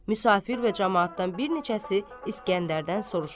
Müsafir və camaatdan bir neçəsi İsgəndərdən soruşur.